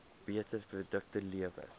beter produkte lewer